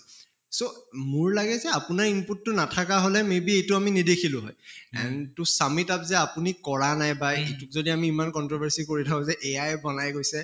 so মোৰ লাগে যে আপোনাৰ input টো নাথাকা হʼলে may be এইটো আমি নেদেখিলো হʼয় and to sum it up যে আপুনি কৰা নাই বা সেইটোত যদি ইমান controversy কৰি থাকো যে AI য়ে বনাই গৈছে